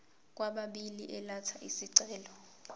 kwababili elatha isicelo